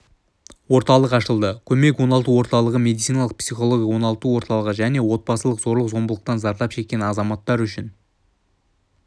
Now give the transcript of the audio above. орталық ашылды көмек оңалту орталығы медициналық-психологиялық оңалту орталығы және отбасылық зорлық-зомбылықтан зардап шеккен азаматтар үшін